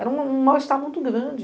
Era um mal-estar muito grande.